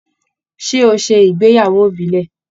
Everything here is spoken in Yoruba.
Ṣé o ṣe ìgbéyàwó ìbílẹ̀?